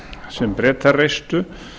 sem bretar reistu